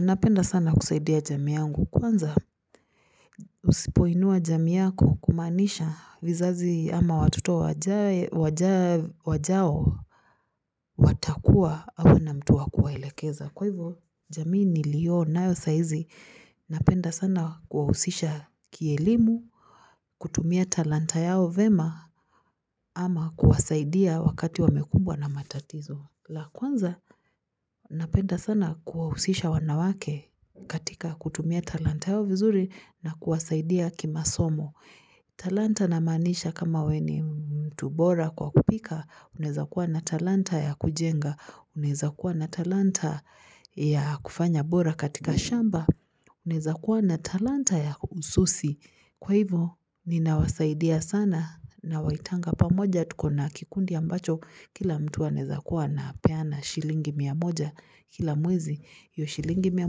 Napenda sana kusaidia jamii yangu kwanza usipoinua jamii yako kumaanisha vizazi ama watoto wajao watakuwa hawana mtu wakuwaelekeza kwa hivyo jamii niliyonayo saa hizi napenda sana kuwahusisha kielimu kutumia talanta yao vyema ama kuwasaidia wakati wamekumbwa na matatizo la kwanza napenda sana kuwahusisha wanawake katika kutumia talanta yao vizuri na kuwasaidia kimasomo. Talanta namaanisha kama wewe ni mtu bora kwa kupika. Unaweza kuwa na talanta ya kujenga. Uneza kuwa na talanta ya kufanya bora katika shamba. Unaweza kuwa na talanta ya ususi. Kwa hivyo ninawasaidia sana nawaitanga pamoja tuko na kikundi ambacho kila mtu anaweza kuwa anapeana shilingi mia moja kila mwezi hiyo shilingi mia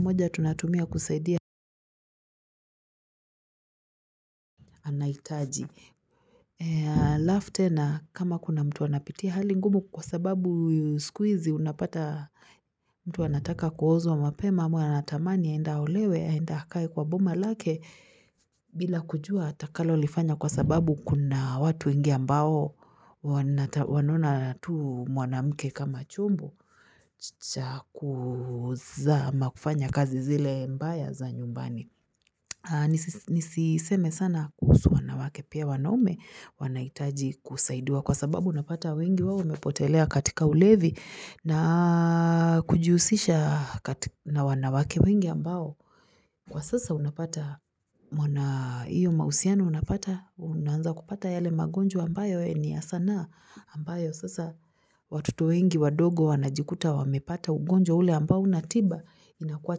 moja tunatumia kusaidia anahitaji. Alafu tena kama kuna mtu anapitia hali ngumu kwa sababu siku hizi unapata mtu anataka kuozwa mapema ama anatamani aende aolewe aende akae kwa boma lake bila kujua atakalolifanya kwa sababu kuna watu wengi ambao. Wanaona tu mwanamke kama chombo cha kuzama kufanya kazi zile mbaya za nyumbani nisiseme sana kuhusu wanawake pia wanaume wanahitaji kusaidiwa kwa sababu unapata wengi wao wamepotelea katika ulevi na kujihusisha katika wanawake wengi ambao Kwa sasa unapata wana hiyo mahusiano unapata unaanza kupata yale magonjwa ambayo ni ya sanaa ambayo sasa watoto wengi wadogo wanajikuta wamepata ugonjwa ule ambao huna tiba inakuwa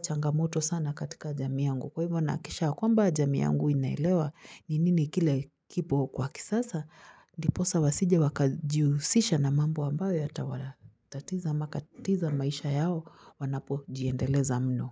changamoto sana katika jamii yangu. Kwa hivyo nahikikisha kwamba jamii yangu inaelewa ni nini kile kipo kwa kisasa ndiposa wasije wakajihusisha na mambo ambayo yatawatatiza mpaka maisha yao wanapojiendeleza mno.